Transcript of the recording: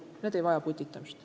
Need ei vaja putitamist.